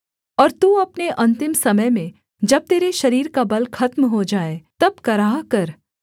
और तू अपने अन्तिम समय में जब तेरे शरीर का बल खत्म हो जाए तब कराह कर